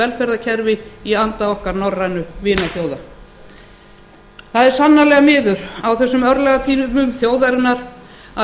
velferðarkerfi í anda okkar norrænu vinaþjóða það er sannarlega miður á þessum örlagatímum þjóðarinnar að